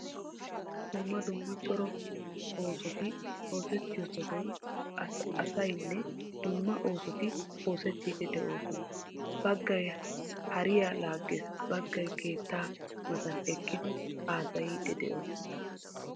Dumma dumma cora oosoti oosettiyo sohuwan asaynne dumma oosoti oosettiiddi de'oosona. Baggay hariya laaggees baggay keettaa matan eqqidi haasayiiddi de'eosona.